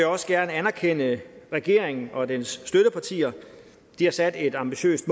også gerne anerkende regeringen og dens støttepartier de har sat et ambitiøst